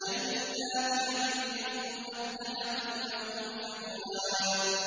جَنَّاتِ عَدْنٍ مُّفَتَّحَةً لَّهُمُ الْأَبْوَابُ